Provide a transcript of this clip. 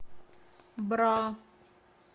бра